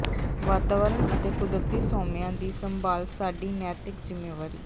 ਵਾਤਾਵਰਣ ਅਤੇ ਕੁਦਰਤੀ ਸੋਮਿਆਂ ਦੀ ਸੰਭਾਲ ਸਾਡੀ ਨੈਤਿਕ ਜ਼ਿਮੇਵਾਰੀ